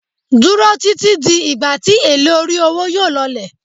Duro titi di igba ti ele ori owo yóò lọlẹ̀